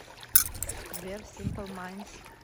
сбер симпл майндс